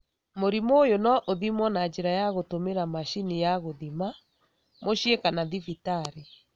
Mũrimũ ũyũ no ũthimwo na njĩra ya gũtũmĩra macini ya gũthima, mũciĩ kana thibitarĩ.